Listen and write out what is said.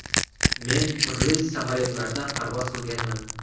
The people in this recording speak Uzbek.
Men turli samolyotlarda parvoz qilganman.